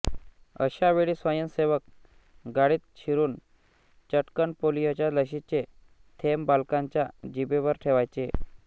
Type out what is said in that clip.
अशा वेळी स्वयंसेवक गाडीत शिरून चटकन पोलिओच्या लशीचे थेंब बालकांच्या जिभेवर ठेवायचे